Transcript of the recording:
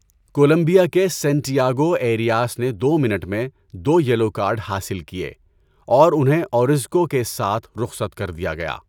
Colombia کے Santiago Arias نے دو منٹ میں دو یلو کارڈ حاصل کیے اور انہیں اورزکو کے ساتھ رخصت کر دیا گیا۔